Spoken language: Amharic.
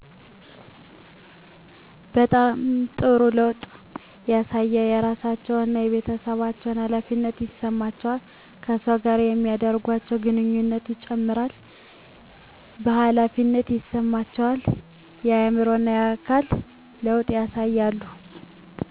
በጣም ጥሩ ለውጥ ያሳያሉ የራሳቸው እና የቤተሠባቸው ሀላፊነት ይሠማቸዋል ከሠወች ጋር የሚደርጓቸው ግንኙነት ይጨምራል ቨሀላፊነት ይሰማቸዋል የአዕምሮ እና የአካል ለውጥ ያሳያሉ።